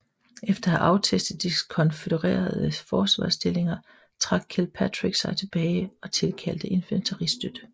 Efter at have aftestet de konfødererede forsvarsstillinger trak Kilpatrick sig tilbage og tilkaldte infanteristøte